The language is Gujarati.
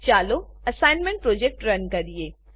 ચાલો એસાઈનમેંટ પ્રોજેક્ટ રન કરીએ